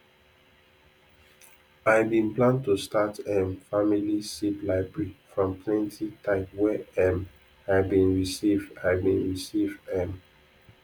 i bin plan to start um family seed library from plenti type wey um i been receive i been receive um